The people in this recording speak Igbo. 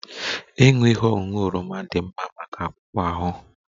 Ịṅụ ihe ọṅụṅụ oroma dị mma maka akpụkpọ ahụ